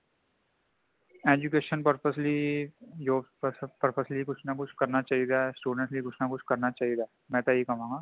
education purpose ਲਈਂ job, purpose ਲਈ ਕੁੱਛ ਨਾ ਕੁੱਛ ,ਕਰਨਾ ਚਾਹੀਂਦਾ ,student ਲਈ ਕੁੱਛ ਨਾ ਕੁੱਛ ,ਕਰਨਾ ਚਾਹੀਂਦਾ ਮੈਂਤਾ ਇਹਹੀ ਕਵਾਂਗਾ